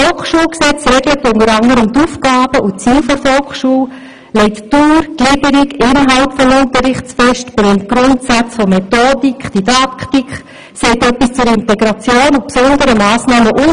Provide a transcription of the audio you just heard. Das Volksschulgesetz regelt unter anderem die Aufgaben und Ziele der Volksschule, legt Dauer, Gliederung und Inhalte des Unterrichts fest, benennt die Grundsätze von Methodik und Didaktik, sagt etwas zu Integration und besonderen Massnahmen usw.